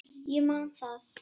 Ég man það.